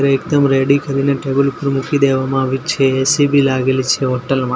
એકદમ રેડી કરીને ટેબલ ઉપર મૂકી દેવામાં આવે છે એ_સી બી લાગેલી છે હોટલ મા.